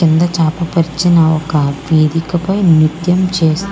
కింద చాప పరిచిన ఒక్క వేదిక పై నిత్యం చేస్తూ --